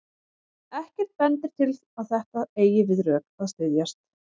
Ekkert bendir til að þetta eigi við rök að styðjast.